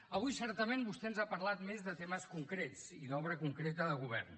avui certament vostè ens ha parlat més de temes concrets i d’obra concreta de govern